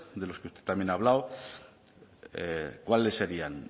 de los que usted también ha hablado cuáles serían